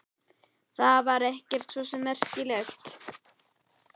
Það var svo sem ekkert merkilegt.